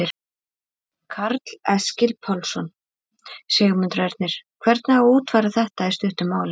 Karl Eskil Pálsson: Sigmundur Ernir, hvernig á að útfæra þetta í stuttu máli?